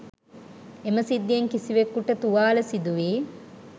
එම සිද්ධියෙන් කිසිවෙකුට තුවාල සිදුවී